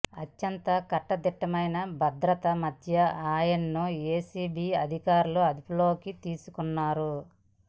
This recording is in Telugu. అత్యంత కట్టుదిట్టమైన భద్రత మధ్య ఆయనను ఏసీబీ అధికారులు అదుపులోకి తీసుకున్నారు